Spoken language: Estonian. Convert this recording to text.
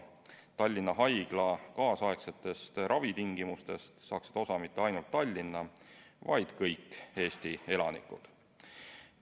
Tallinna Haigla nüüdisaegsetest ravitingimustest saaksid osa mitte ainult Tallinna, vaid kõik Eesti elanikud.